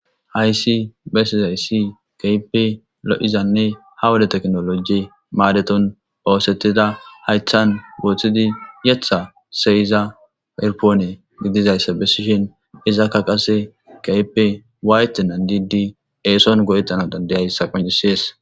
hayssi besi zayssi kaype lo7izanne ha woda teknoloji maadeton poosettida haythan wooththidi yetha seyiza erpoone gidizayssa bessishin izakka qase kaype wayte nandidi eeson go7etana dandayayssa qoncisees